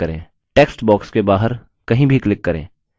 text box के बाहर कहीं भी click करें